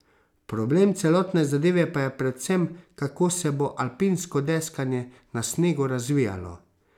Problem celotne zadeve pa je predvsem, kako se bo alpinsko deskanje na snegu razvijalo.